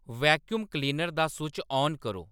vacuum cleaner दा सुच्च आन करो